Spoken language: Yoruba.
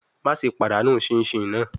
Maṣe padanu chinchin naa